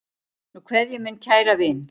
Nú kveð ég minn kæra vin.